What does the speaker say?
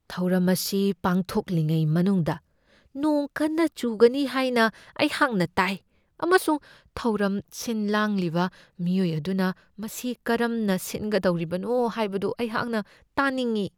ꯊꯧꯔꯝ ꯑꯁꯤ ꯄꯥꯡꯊꯣꯛꯂꯤꯉꯩ ꯃꯅꯨꯡꯗ ꯅꯣꯡ ꯀꯟꯅ ꯆꯨꯒꯅꯤ ꯍꯥꯏꯅ ꯑꯩꯍꯥꯛꯅ ꯇꯥꯏ, ꯑꯃꯁꯨꯡ ꯊꯧꯔꯝ ꯁꯤꯟꯂꯥꯡꯂꯤꯕ ꯃꯤꯑꯣꯏ ꯑꯗꯨꯅ ꯃꯁꯤ ꯀꯔꯝꯅ ꯁꯤꯟꯒꯗꯧꯔꯤꯕꯅꯣ ꯍꯥꯏꯕꯗꯨ ꯑꯩꯍꯛꯅ ꯇꯥꯅꯤꯡꯢ꯫